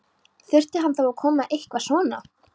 Þurfti hann þá að koma með eitthvað svona?